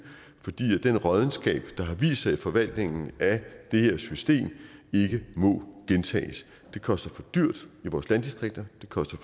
fordi den råddenskab der har vist sig i forvaltningen af det her system ikke må gentages det koster for dyrt i vores landdistrikter det koster